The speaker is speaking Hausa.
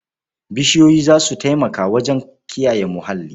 Bishiyoyi za su taimaka wajen kiyaye muhalli.